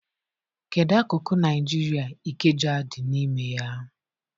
Kedu akụkụ Naijiria Ikeja dị n'ime ya?